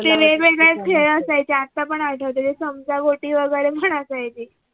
ते वेगवेगळे खेळ असायचे ते आत्ता पण आठवते ते चमचागोटी वैगरे पण असायचे